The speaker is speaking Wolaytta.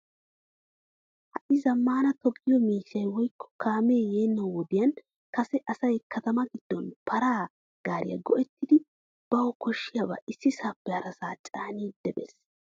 Ha'i zamaana toga miishshay woykko kaame yeena wodiyan kase asay katama giddon paraa gaariyaa go'ettida bawu koshshiyaba issisappe harasa caanidi bees'